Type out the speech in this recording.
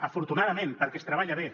afortunadament perquè es treballa bé